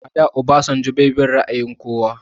A da Obasanjo bai bin ra'ayin kowa